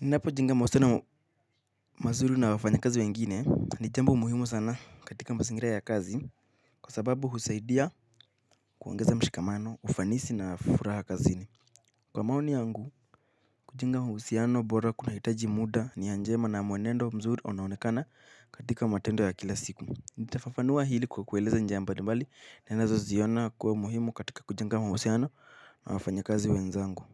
Ninapojenga mahusiano mazuri na wafanya kazi wengine ni jambo muhimu sana katika mazingira ya kazi. Kwa sababu husaidia kuongeza mshikamano, ufanisi na furaha kazi ni kwa maoni yangu, kujenga mahusiano bora kunahitaji muda nia njema na mwenendo wa mzuri unaonekana katika matendo ya kila siku. Nitafafanua hili kwa kueleza njia mbalimbali ninazoziona kuwa muhimu katika kujenga mahusiano na wafanya kazi wenzangu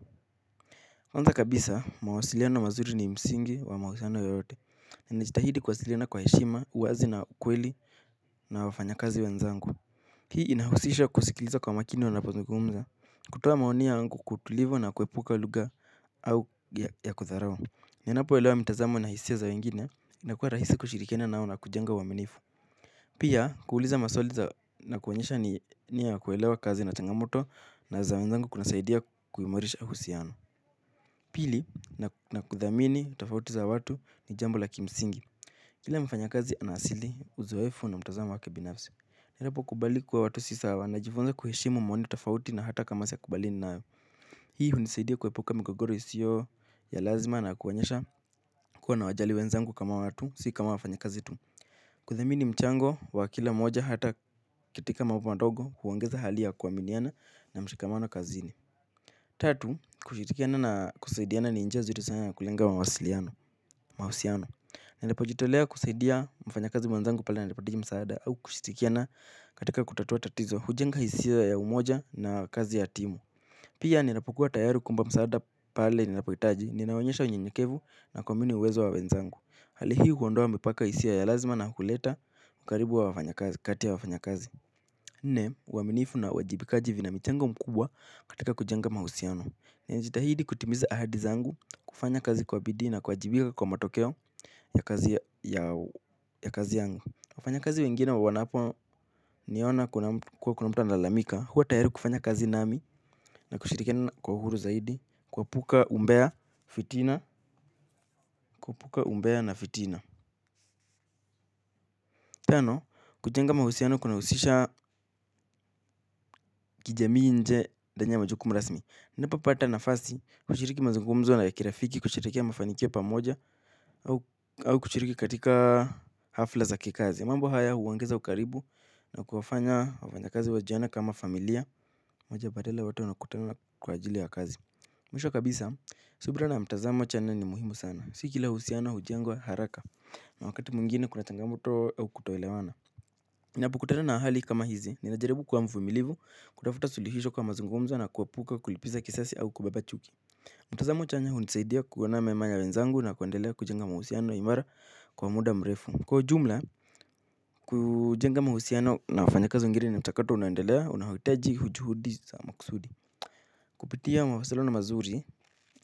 kwanza kabisa, mawasiliano mazuri ni msingi wa mahusiano yoyote. Na ninajitahidi kuwasiliana kwa heshima, uwazi na kweli na wafanya kazi wenzangu. Hii inahusisha kusikiliza kwa makini wanapozungumza. Kutoa maoni yangu kwa utulivu na kuepuka lugha au ya kudharau. Ninapoelewa mitazamo na hisia za wengine, inakua rahisi kushirikiana nao na kujenga uaminifu. Pia, kuuliza maswali za na kuonyesha ni nia ya kuelewa kazi na changamoto na za wenzangu kunasaidia kuimarisha uhusiano pili na kuthamini uhisiano wa watu ni jambo la kimsimgi. Kila mfanya kazi ana asili uzoefu na mtazamo wake binafsi. Najaribu kukubali kuwa watu si sawa najifunza kuheshimu maoni tofauti na hata kama siyakubaliani nao. Hii hunisaidia kuepuka migogoro isiyo ya lazima na kuonyesha kuwa nawajali wenzangu kama watu si kama wafanyakazi tu. Kuthamini mchango wa kila moja hata katika mambo madogo huongeza hali ya kuaminiana na mshikamano kazini. Tatu, kushirikiana na kusaidiana ni njia zuri ya kulenga mawasiliano, mahusiano. Ninapojitolea kusaidia mfanya kazi mwenzangu pale anapohitaji msaada au kushirikiana katika kutatua tatizo. Hujenga hisia ya umoja na kazi ya timu. Pia ninapokua tayari kuimba msaada pale ninapohitaji, ninaonyesha unyenyekevu na kuamini uwezo wa wenzangu. Hali hii huondoa mipaka hisia ya lazima na kuleta ukaribu wa wafanya kazi, kati ya wafanya kazi. Nne, uaminifu na uwajibikaji vina michango mkubwa katika kujenga mahusiano. Najitahidi kutimiza ahadi zangu, kufanya kazi kwa bidii na, kuwajibija kwa matokeo ya kazi yangu wafanya kazi wengine wananiona kuwa kuna mtu analalamika. Huwa tayari kufanya kazi nami na kushirikiana kwa uhuru zaidi, kuepuka umbea, fitina, kuepuka umbea na fitina. Tano, kujenga mahusiano kunahusisha kijamii nje ndani ya majukumu rasmi. Ninapkpata nafasi kushiriki mazungumzo na ya kirafiki kusherehekea mafanikio pamoja au kushiriki katika hafla za kikazi. Mambo haya huongeza ukaribu na kuwafanya wafanya kazi wajione kama familia moja badala wote wanakutana kwa ajili ya kazi. Mwisho kabisa, subira na mtazamo chanya ni muhimu sana. Si kila uhusiano, hujengwa, haraka na wakati mwingine kuna changamoto au kutoelewana. Ninapokutana na hali kama hizi, ninajaribu kuwa mvumilivu, kutafuta sulihisho kwa mazungumzo na kuepuka kulipiza kisasi au kubeba chuki. Mtazamo chanya hunisaidia kuona mema ya wenzangu na kuendelea kujenga mahusiano imara kwa muda mrefu. Kwa ujumla, kujenga mahusiano na wafanya kazi wengine inataka tu unaendelea unahitaji juhudi za makusudi. Kupitia mawasaliano mazuri,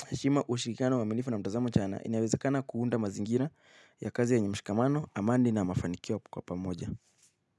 heshima ushirikiano uaminifu na mtazamo chanya inawezekana kuunda mazingira ya kazi yenye mshikamano, amani na mafanikio kwa pamoja.